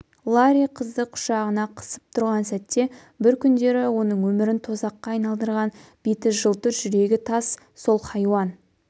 ларри қызды құшағына қысып тұрған сәтте бір күндері оның өмірін тозаққа айналдырған беті жылтыр жүрегі тас сол хайуан